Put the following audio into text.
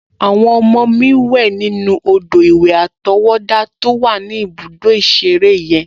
Àwọn ọmọ mi wẹ̀ nínú odò-ìwẹ̀ àtọwọ́dá to wà ní ibùdó ìṣeré yen